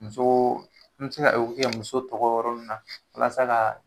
Muso n be se ka kɛ muso dogo yɔrɔ nunnu na walasa ka